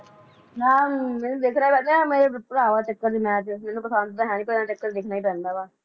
ਨਾ ਮੈਨੂੰ ਦੇਖਣਾ ਪੈਂਦਾ ਮੇਰੇ ਭਰਾਵਾਂ ਦੇ ਚੱਕਰ ਚ ਮੈਚ ਮੈਨੂੰ ਪਸੰਦ ਤਾਂ ਹੈ ਨਹੀਂ ਪਰ ਇਨ੍ਹਾਂ ਦੇ ਚੱਕਰ ਚ ਦੇਖਣਾ ਹੀ ਪੈਂਦਾ ਵਾ